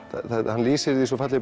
hann lýsir því svo fallega